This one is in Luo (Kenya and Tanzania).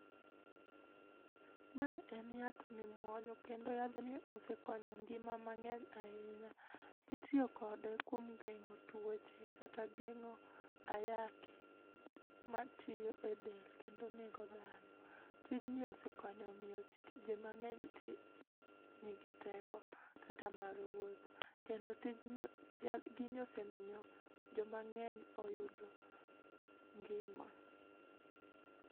Ma en yath mimuonyo kendo yadhni osekonyo ngima mangeny ahinya. Itiyo kode kuom gengo tuoche kata gengo ayaki matiyo e del kendo nego dhano. Tijni osekonyo jii mangeny tii nigi teko kata mar wuotho. kendo tijni ,yadhni osekonyo jii mangeny oyudo ngima